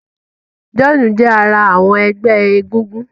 John jé ará àwọn egbé egúngún.